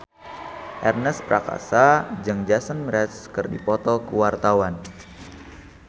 Ernest Prakasa jeung Jason Mraz keur dipoto ku wartawan